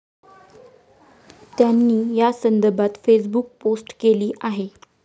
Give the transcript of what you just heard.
त्यांनी या संदर्भात फेसबुक पोस्ट केली आहे.